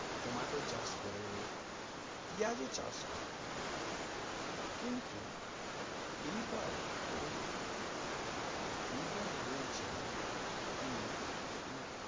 tomato চাষ করে পিঁয়াজ ও চাষ করে কিন্তু এবার ও এবার ও বলছে কি মানে